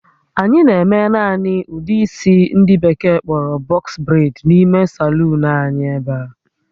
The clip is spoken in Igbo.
Anyị na-eme naanị ụdị isi ndị Bekee kpọrọ "box braids" n'ime saluun l anyị ebe a